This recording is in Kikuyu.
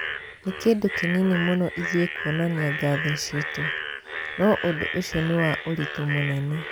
"Nĩ kĩndũ kĩnini mũno ĩthuĩ kuonania ngatho ciitũ. No ũndũ ũcio nĩ wa ũritũ mũnene".